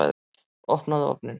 Opnaðu ofninn!